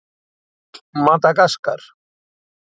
Madagaskar